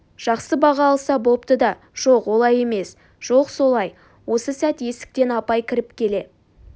жақсы баға алса бопты да жоқ олай емес жоқ солай осы сәт есіктен апай кіріп келе